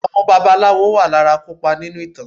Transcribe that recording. Àwọn babaláwo wà lára akopa nínú ìtàn.